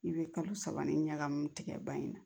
I bɛ kalo saba ni ɲagami tigɛ ban in na